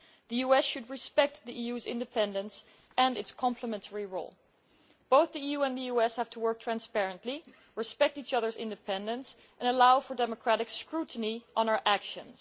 The US should respect the EU's independence and its complementary role. Both the EU and the US have to work transparently, respect each other's independence and allow for democratic scrutiny of our actions.